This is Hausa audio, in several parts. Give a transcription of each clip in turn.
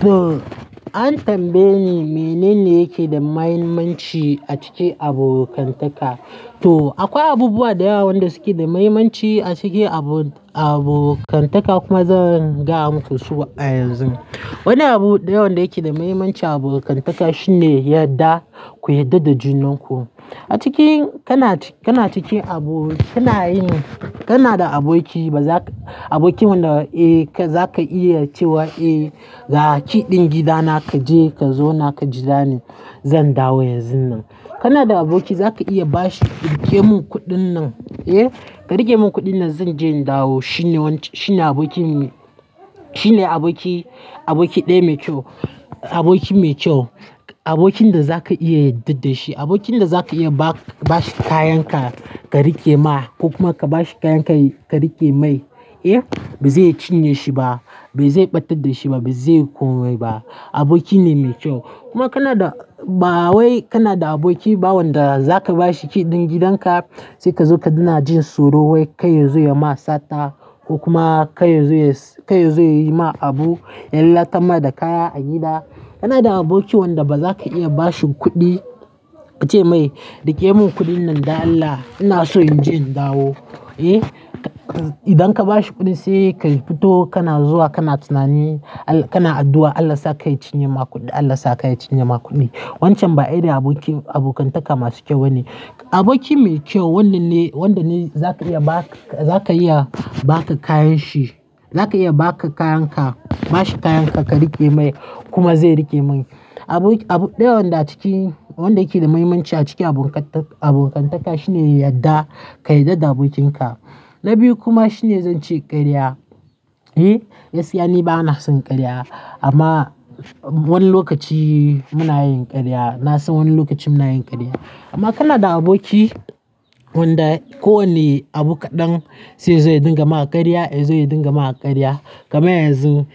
Toh, an tambaye ni menene yake da mahimmanci a cikin abokantaka? Toh akwai abubuwa da yawa wanda suke da mahimmanci a cikin abokantaka kuma zan gaya muku su a yanzu. Wani abu da yawa da yake da mahimmanci a cikin abokantaka shine yarda, ku yarda da junan ku. A cikin kana cikin abu, kana yin, kana da aboki ba za ka, aboki wanda, eh, kai za ka iya cewa "eh ga key ɗin gidana kaje ka zauna ka jirani zan dawo yanzun nan." Kana da aboki za ka iya bashi "rike mun kuɗin nan, eh ka rike mun kuɗin nan zan je in dawo." Shine wancan, shine abokin, shine aboki, aboki ɗai mai kyau, aboki mai kyau, abokin da za ka iya yarda da shi, abokin da za ka iya ba shi kayan ka, ka rike ma ko kuma ka bashi kayan ka rike mai, eh, ba zai cinye shi ba, bai zai ɓattar da shi ba, bai zai komai ba. Aboki ne mai kyau. Kuma kana da, ba wai kana da aboki ba wanda zaka bashi key ɗin gidanka sai kazo ka ga na jin tsoro wai kai ya zo ya ma sata ko kuma kai ya zo ya ma abu, ya lallata ma da kaya a gida. Kana da aboki wanda ba za ka iya ba shi kuɗi ka ce mai "rike mun kuɗin nan da Allah, ina so in je in dawo", eh idan ka bashi kuɗin sai ka fito kana zuwa kana tunani, kana addu'a Allah sa kai ya cinye ma kuɗin, Allah sa kai ya cinye ma kuɗin. Wancan ba irin abokin abokantaka masu kyau bane. Aboki mai kyau wannan ne wanda ne za ka iya ba, za ka iya ba ka kayan shi, za ka iya ba ka kayan ka, ba shi kayan ka, ka rike mai kuma zai rike mai. Abu da yawa da cikin wanda yake da mahimmanci a cikin abokantaka shine yadda ka yarda da abokinka. Na biyu kuma shine zan ce karya, eh gaskiya ni bana son karya, amma wani lokaci muna yin karya. Na san wani lokacin muna yin karya. Amma kana da aboki wanda kowane abu kaɗan sai zai dinga ma karya, zai dinga ma karya, kamar yanzu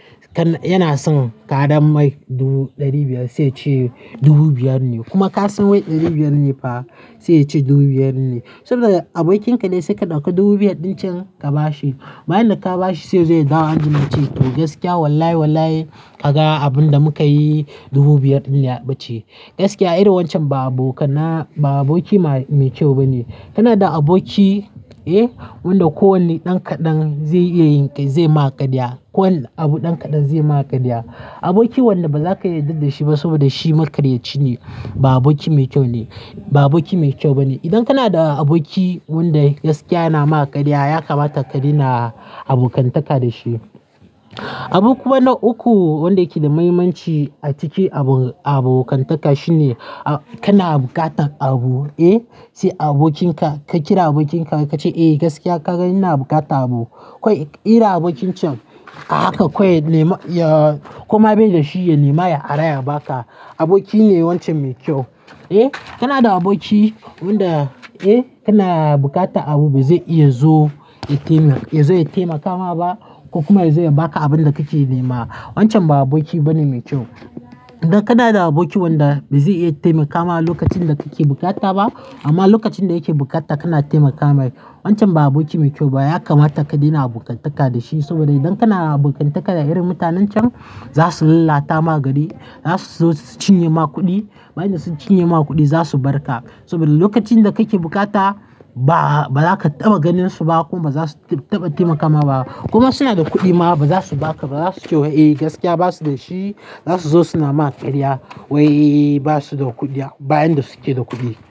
yana son karam mai dubu ɗari biyar sai ya ce dubu biyar ne kuma ka san wai ɗari biyar ne fa sai ya ce dubu biyar ne. Saboda abokinka ne sai ka ɗauki dubu biyar ɗin can ka ba shi. Bayan da ka ba shi sai zai dawo anjima ya ce "gaskiya wallahi wallahi ka ga abun da muka yi dubu biyar din ya ɓace." Gaskiya irin wancan ba abokana, ba aboki mai kyau bane. Kana da aboki, eh wanda kowane ɗan kaɗan zai iya yin, zai ma karya. Kowane abu ɗan kaɗan zai ma karya. Aboki wanda ba za ka iya yarda da shi ba saboda shi makaryaci ne ba aboki mai kyau ne, ba aboki mai kyau bane. Idan kana da aboki wanda gaskiya yana ma karya ya kamata ka daina abokantaka da shi. Ama kuma na uku wanda yake da mahimmanci a cikin abokantaka shine kana buƙatar abu, eh, sai abokinka ka kira abokinka ka ce "eh gaskiya ka ga ina bukata abu" kawai irin abokin can a haka kawai ya nema kuma bai da shi ya nema ya ara ya ba ka aboki ne wancan mai kyau. Eh, kana da aboki, wanda, eh, kana bukata abu bai zai iya zo ya taimaka ma ba ko kuma zai ba ka abun da kake nema wancan ba aboki bane mai kyau. Idan kana da aboki wanda bai zai iya taimaka ma lokacin da kake bukata ba amma lokacin da yake bukata kana taimaka mai wancan ba aboki mai kyau ba ya kamata ka daina abokantaka da shi saboda idan kana abokantaka da irin mutanen can za su lallata ma gari, za su zo su cinye ma kuɗi. Bayan na sun cinye ma kuɗi za su bar ka saboda lokacin da kake bukata ba, ba za ka taɓa ganin su ba kuma ba za su taɓa taimaka ma ba kuma suna da kuɗi ma ba za su ba ka. Ba za su ce wa eh gaskiya ba su da shi. Za su zo suna ma karya wai ba su da kuɗi bayan da su ke da kuɗi.